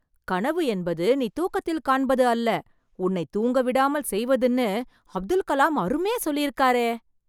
கனவு என்பது நீ தூக்கத்தில் காண்பது அல்ல, உன்னை தூங்கவிடாமல் செய்வதுன்னு அப்துல் கலாம் அருமையா சொல்லியிருக்காரே...